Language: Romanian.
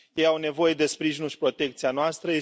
Ei au nevoie de sprijinul și protecția noastră.